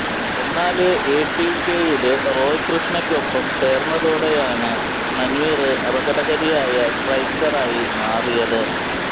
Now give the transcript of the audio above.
എന്നാല് എടികെയില് റോയ് കൃഷ്ണക്കൊപ്പം ചേര്ന്നതോടെയാണ് മന്വീര് അപകടകാരിയായ സ്ട്രൈക്കറായി മാറിയത്